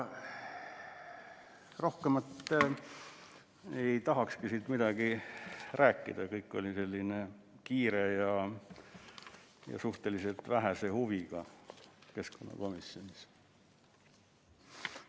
Rohkem ei tahakski midagi rääkida, kõik läks kiiresti ja suhteliselt vähese huviga keskkonnakomisjonis.